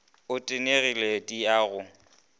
o tenegile di a go